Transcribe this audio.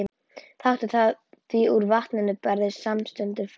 Taktu það því úr vatninu og berðu samstundis fram.